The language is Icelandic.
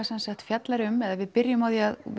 semsagt fjallar um eða við byrjum á því að